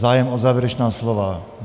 Zájem o závěrečná slova?